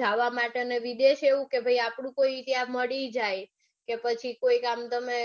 જાવ માટે અને વિદેશ એવું કે આપણું કોઈ ત્યાં મળી જાય કે પછી કોઈક આમ તમે